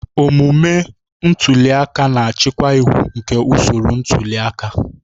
Omume ntuli aka na-achịkwa iwu nke usoro ntuli aka.